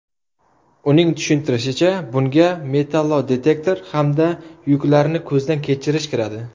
Uning tushuntirishicha, bunga metallodetektor hamda yuklarni ko‘zdan kechirish kiradi.